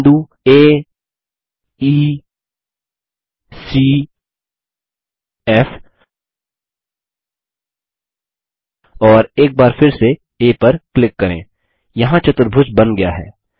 बिंदु आ ई सी फ़ और एक बार फिर से आ पर क्लिक करेंयहाँ चतुर्भुज बन गया है